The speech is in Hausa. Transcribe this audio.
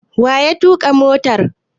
Wa ya tuƙa motar?